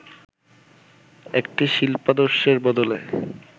একটি শিল্পাদর্শের বদলে